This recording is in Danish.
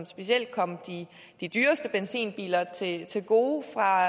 specielt kom de dyreste benzinbiler til gode fra